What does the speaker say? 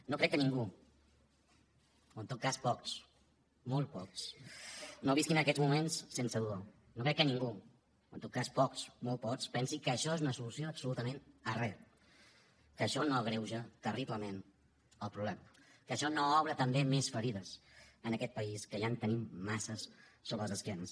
no crec que ningú o en tot cas pocs molt pocs no visqui aquests moments sense dolor no crec que ningú o en tot cas pocs molt pocs pensi que això és una solució absolutament a re que això no agreuja terriblement el problema que això no obre també més ferides en aquest país que ja en tenim massa sobre les esquenes